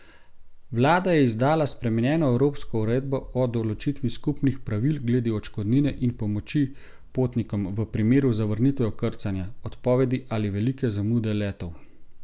Vlada je izdala spremenjeno evropsko uredbo o določitvi skupnih pravil glede odškodnine in pomoči potnikom v primeru zavrnitve vkrcanja, odpovedi ali velike zamude letov.